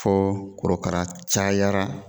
Fɔɔ korokara cayara